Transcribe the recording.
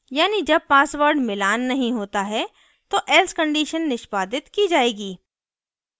यानी जब passwords मिलान नहीं होता है तो else condition निष्पादित की जाएगी